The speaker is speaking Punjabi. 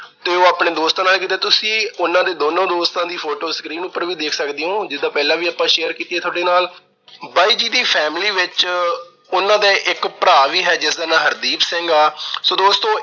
ਤੇ ਉਹ ਆਪਣੇ ਦੋਸਤਾਂ ਨਾਲ। ਜਿਦਾਂ ਤੁਸੀਂ ਉਹਨਾਂ ਦੇ ਦੋਨਾਂ ਦੋਸਤਾਂ ਦੀ photo screen ਉਪਰ ਵੀ ਦੇਖ ਸਕਦੇ ਓ ਜਿਸ ਤਰ੍ਹਾਂ ਆਪਾ ਪਹਿਲਾ ਵੀ share ਕੀਤੀ ਆ ਤੁਹਾਡੇ ਨਾਲ। ਬਾਈ ਜੀ ਦੀ family ਵਿੱਚ ਉਹਨਾਂ ਦਾ ਇੱਕ ਭਰਾ ਵੀ ਹੈ, ਜਿਸਦਾ ਨਾਂ ਹਰਦੀਪ ਸਿੰਘ ਆ। so ਦੋਸਤੋ